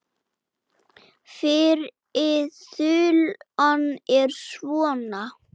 Fyrri þulan er svona